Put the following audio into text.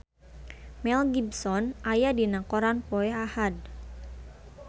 Mel Gibson aya dina koran poe Ahad